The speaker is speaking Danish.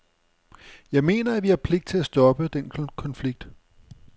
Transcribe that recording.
Jeg mener, at vi har pligt til at stoppe den konflikt.